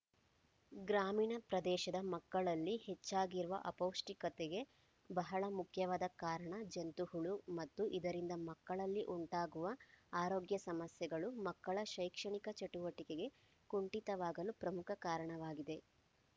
ಗ್ರಾಮೀಣ ಪ್ರದೇಶದ ಮಕ್ಕಳಲ್ಲಿ ಹೆಚ್ಚಾಗಿರುವ ಅಪೌಷ್ಟಿಕತೆಗೆ ಬಹಳ ಮುಖ್ಯವಾದ ಕಾರಣ ಜಂತುಹುಳು ಮತ್ತು ಇದರಿಂದ ಮಕ್ಕಳಲ್ಲಿ ಉಂಟಾಗುವ ಆರೋಗ್ಯ ಸಮಸ್ಯೆಗಳು ಮಕ್ಕಳ ಶೈಕ್ಷಣಿಕ ಚಟುವಟಿಕೆ ಕುಂಠಿತವಾಗಲು ಪ್ರಮುಖ ಕಾರಣವಾಗಿದೆ